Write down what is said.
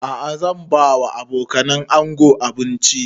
A'a zan ba wa abokanan ango abinci